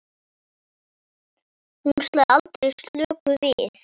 Hún slær aldrei slöku við.